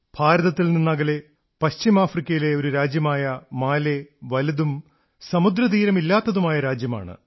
ഭാരതത്തിൽനിന്നകലെ പശ്ചിമ ആഫ്രിക്കയിലെ ഒരു രാജ്യമായ മാലി വലുതും സമുദ്ര തീരമില്ലാത്തതുമായ രാജ്യമാണ്